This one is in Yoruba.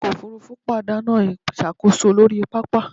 Ọkọ̀ òfurufú pàdánù ìṣàkóso lórí pápá